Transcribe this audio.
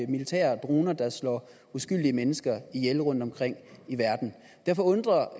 militære droner der slår uskyldige mennesker ihjel rundtomkring i verden derfor undrer